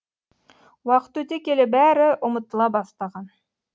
уақыт өте келе бәрі ұмытыла бастаған